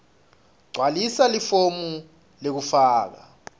gcwalisa lifomu lekufaka